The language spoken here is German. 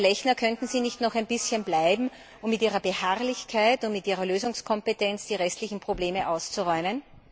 Herr Lechner, könnten Sie nicht noch ein bisschen bleiben, um mit Ihrer Beharrlichkeit und mit Ihrer Lösungskompetenz die restlichen Probleme auszuräumen?